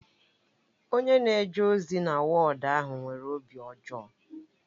Onye na-eje ozi na wọọdu ahụ nwere obi ọjọọ